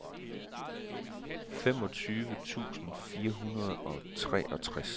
femogtyve tusind fire hundrede og treogtres